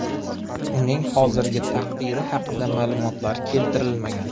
Uning hozirgi taqdiri haqida ma’lumotlar keltirilmagan.